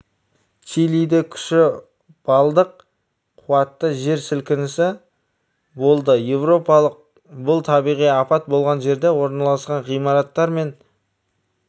чилиде күші балдық қуатты жер сілкінісі болды еуропалық бұл табиғи апат болған жерде орналасқан ғимараттар мен